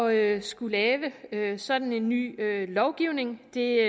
at skulle lave lave sådan en ny lovgivning det